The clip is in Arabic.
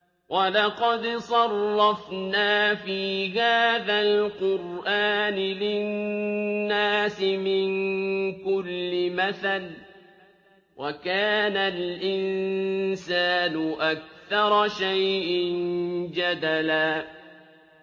وَلَقَدْ صَرَّفْنَا فِي هَٰذَا الْقُرْآنِ لِلنَّاسِ مِن كُلِّ مَثَلٍ ۚ وَكَانَ الْإِنسَانُ أَكْثَرَ شَيْءٍ جَدَلًا